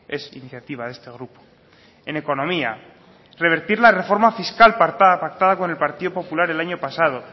es iniciativa de este grupo en economía revertir la reforma fiscal pactada con el partido popular el año pasado